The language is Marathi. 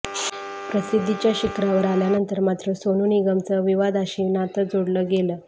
प्रसिद्धीच्या शिखरावर आल्यानंतर मात्र सोनू निगमचं विवादाशी नातं जोडलं गेलं